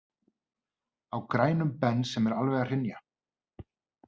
Á grænum Bens sem er alveg að hrynja.